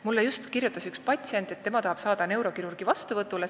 Mulle kirjutas äsja üks patsient, et tema tahab saada neurokirurgi vastuvõtule.